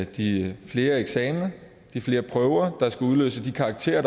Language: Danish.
de flere eksamener de flere prøver der skal udløse de karakterer